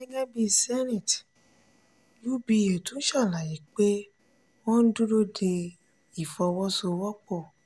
gẹ́gẹ́ bíi zenith uba tún ṣàlàyé pé wọ́n ń dúró de ìfọwọ́sowọ́pọ̀.